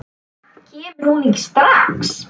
Kemur hún ekki strax?